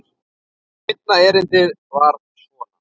Seinna erindið var svona